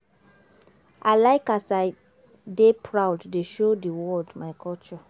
I like as I dey proud dey show di world my culture.